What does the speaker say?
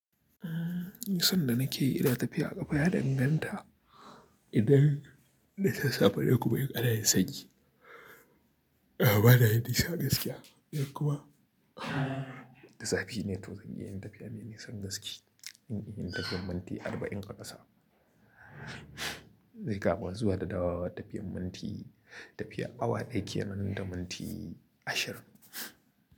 Tun da nake, ina tafiya a ƙafa ya danganta idan da sassafe ne kuma in ana yin sanyi. A'a, ba na yin nisa gaskiya ko kuma. Zafi ne toh zan iya yin tafiya mai nisan gaske. Ine ina tafiyan minti arba'in a ƙasa. Dai kama zuwa da dawowa tafiyan minti, tafiya awa ɗaya ke nan da minti ashirin.